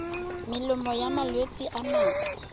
melemo ya malwetse a nako